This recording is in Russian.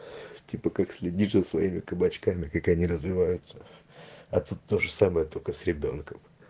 типа как следить за своими кабачками как они развиваются а тут тоже самое только с ребёнком